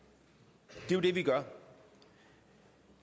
det er jo det vi gør